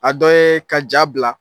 A dɔ ye ka ja bila,